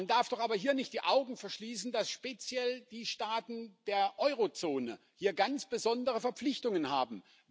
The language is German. Man darf doch aber hier nicht die Augen verschließen, dass speziell die Staaten der Eurozone hier ganz besondere Verpflichtungen haben.